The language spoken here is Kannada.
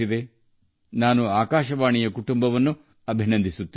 ಆದ್ದರಿಂದ ನಾನು ಆಲ್ ಇಂಡಿಯಾ ರೇಡಿಯೊ ಕುಟುಂಬವನ್ನು ಅಭಿನಂದಿಸುತ್ತೇನೆ